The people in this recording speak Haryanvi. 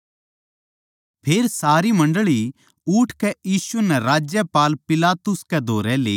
फेर सारी मंडळी उठकै यीशु नै राज्यपाल पिलातुस कै धोरै लेग्यी